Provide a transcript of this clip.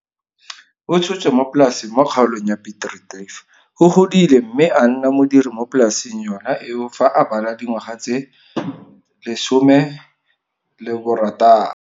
O tshotswe mo polaseng mo kgaolong ya Piet Retief. O godile mme a nna modiri mo polaseng yona eo fa a bala dingwaga tse 16.